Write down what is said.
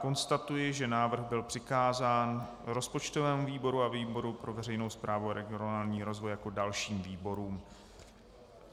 Konstatuji, že návrh byl přikázán rozpočtovému výboru a výboru pro veřejnou správu a regionální rozvoj jako dalším výborům.